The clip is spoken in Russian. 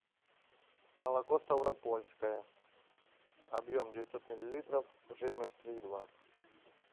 молоко ставропольское объем девятьсот миллилитров жирность три и два